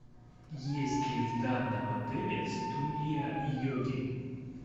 есть ли в данном отеле студия йоги